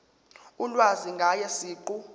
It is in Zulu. ulwazi ngaye siqu